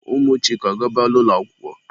Ụmụ Chike agabala ụlọ akwụkwọ?